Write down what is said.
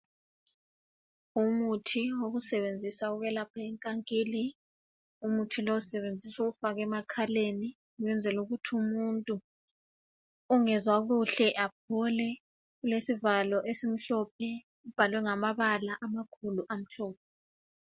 Umuthi wokusebenzisa ukwelapha inkankili, umuthi lo usebenziswa ukufaka emakhaleni ukwenzela ukuthi umuntu ongezwakuhle aphole ulesivalo esimhlophe ubhalwe ngamabala amakhulu amhlophe.